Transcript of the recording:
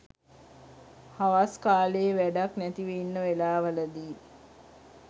හවස් කාලයේ වැඩක් නැතිව ඉන්න වෙලාවල දී